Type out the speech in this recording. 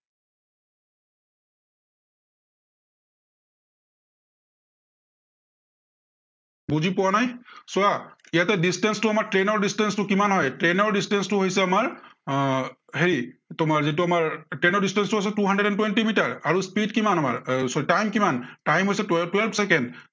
বুজি পোৱা নাই, চোৱা ইয়াতে distance টো আমাৰ train ৰ distance টো কিমান হয়, train ৰ distance টো হৈছে আমাৰ, আহ হেৰি যিটো আমাৰ train ৰ distance টো হৈছে two hundred and twenty metre. আৰু speed কিমান আমাৰ এৰ time কিমান time হৈছে twelve ছেকেণ্ড